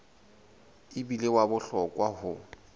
e bile wa bohlokwa ho